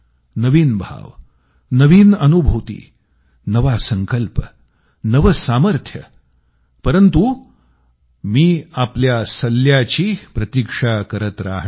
नवीन भाव नवीन अनुभूती नवा संकल्प नवे सामर्थ्य परंतु मी आपल्या सल्ल्यांची प्रतीक्षा करत राहणार